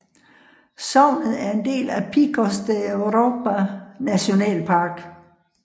Sognet er en del af Picos de Europa Nationalpark